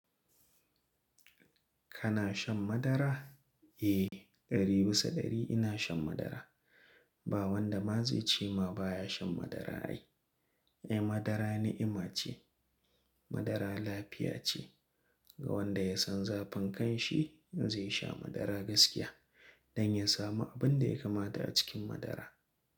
Kana shan madara? Eh, ɗari bisa ɗari ina shan madara. Ba wanda ma zai ce ma baya shan madara ai. Eh, madara ni'ima ce. Madara lafiya ce. Ga wanda ya san zafin kanshi zai sha madara gaskiya don ya samu abin da ya kamata a cikin madara.